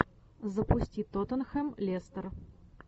запусти тоттенхэм лестер